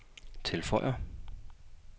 tilføjer